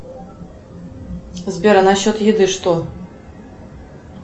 сбер а насчет еды что